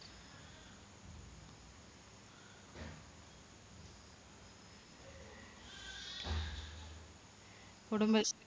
കുടുംബ